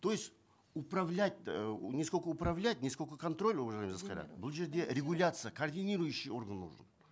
то есть управлять эээ не сколько управлять не сколько контроль уважаемая жасқайрат бұл жерде регуляция координирующий орган нужен